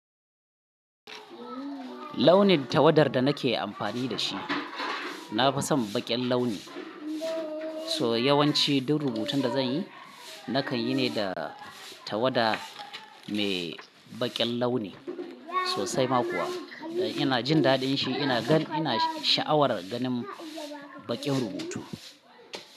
Launin tawadar da nake amfani da shi, na fi son baƙen launi. So yawanci duk rubutun da zanyi nakan yi ne da tawada mai baƙen launi. Sosai ma kuwa, ina jin daɗin shi, ina gan, ina sha'awar ganin baƙen rubutu.